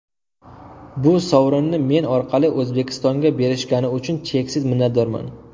Bu sovrinni men orqali O‘zbekistonga berishgani uchun cheksiz minnatdorman.